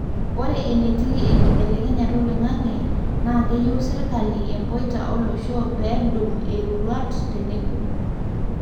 ore entii enkibelekenyata oloingange na keyieu serkali empoita olosho pendum iroruat teneboo